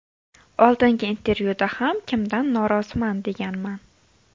Oldingi intervyuda ham kimdan noroziman deganman.